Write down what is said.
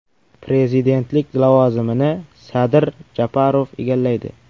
Prezidentlik lavozimini Sadir Japarov egallaydi.